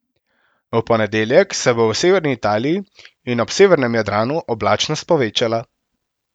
V ponedeljek se bo v severni Italiji in ob severnem Jadranu oblačnost povečala.